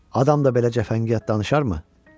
Adam da belə cəfəngiyat danışarmı?